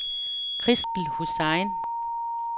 Christel Hussain